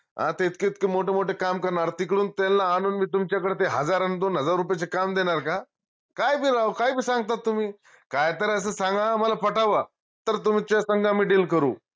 अर ते इतके इतके मोठं मोठं काम करनार तुकडून त्यांला आनून मी तुच्याकडं ते हजार अन दोन हजार रुप्याचे काम देनार का? काई बी राव काई बी सांगता तुम्ही काय तर असं सांगा आम्हाला पटाव तर तुमच्या सांग आम्ही deal करू